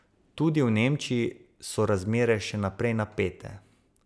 Tudi v Nemčiji so razmere še naprej napete.